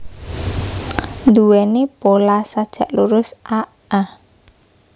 Nduwèni pola sajak lurus a a